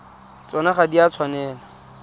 tsona ga di a tshwanela